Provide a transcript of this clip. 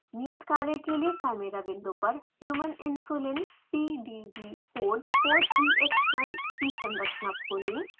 नियत कार्य के लिए chimera विंडो पर human insulin pdb code 4ex1 की संरचना खोलें